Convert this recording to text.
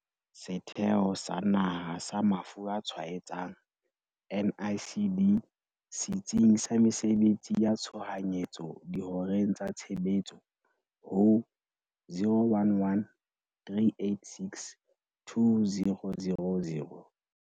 Setheo sa Naha sa Mafu a Tshwaetsang, NICD, Setsing sa Mesebetsi ya Tshohanyetso dihoreng tsa tshebetso ho- 011 386 2000.